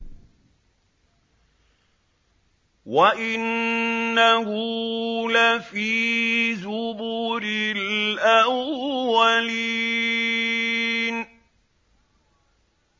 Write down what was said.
وَإِنَّهُ لَفِي زُبُرِ الْأَوَّلِينَ